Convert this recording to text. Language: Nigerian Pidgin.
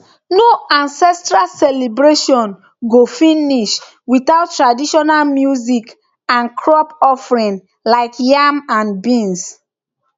no ancestral celebration go finish without traditional music and crop offering like yam and beans